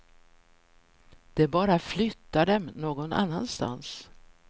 De bara flyttar dem någon annanstans.